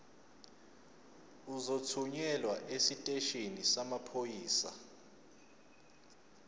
uzothunyelwa esiteshini samaphoyisa